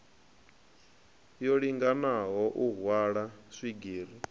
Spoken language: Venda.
yo linganaho u hwala swigiri